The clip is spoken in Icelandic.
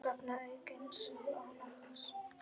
vegna aukins álags.